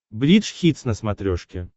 бридж хитс на смотрешке